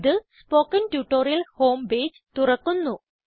ഇത് spoken tutorial home page തുറക്കുന്നു